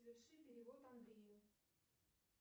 соверши перевод андрею